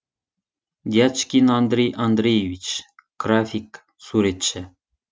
дячкин андрей андреевич график суретші